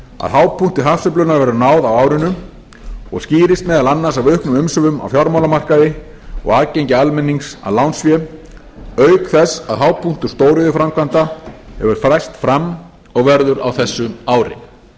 að hápunkti hagsveiflunnar verður náð á árinu og skýrist meðal annars af auknum umsvifum á fjármálamarkaði og aðgengi almennings að lánsfé auk þess að hápunktur stóriðjuframkvæmda hefur færst fram og verður á þessu ári þá